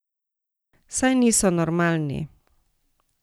Saj niso normalni!